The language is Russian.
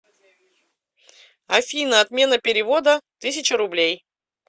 афина отмена перевода тысяча рублей